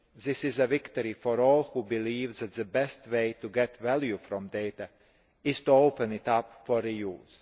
This is a victory for all who believe that the best way to get value from data is to open it up for re use.